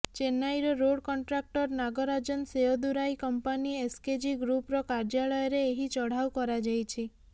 ଚେନ୍ନାଇର road contractor Nagarajan Seyadurai company SKG ଗ୍ରୁପର କାର୍ଯ୍ୟାଳୟରେ ଏହି ଚଢ଼ାଉ କରାଯାଇଛି